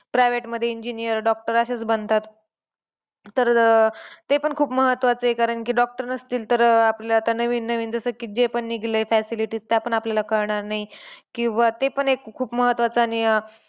Private मध्ये engineer, doctor असेच बनतात. तर ते पण खूप महत्वाचं आहे कारण की doctor नसतील तर अह आपल्याला जे पण नवीन नवीन जसं की, जे पण निगलंय facilities त्या पण आपल्याला कळणार नाही. किंवा ते पण एक खूप महत्वाचं आणि अह